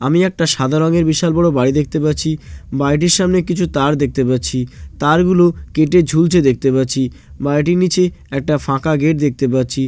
আমি একটা সাদা রঙের বিশাল বড়ো বাড়ি দেখতে পাচ্ছি। বাড়িটির সামনে কিছু তার দেখতে পাচ্ছি তার গুলো কেটে ঝুলছে দেখতে পাচ্ছি বাড়িটির নিচে একটা ফাঁকা গেট দেখতে পাচ্ছি।